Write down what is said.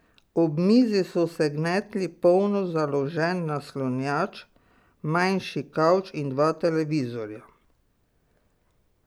Ob mizi so se gnetli polno založen naslanjač, manjši kavč in dva televizorja.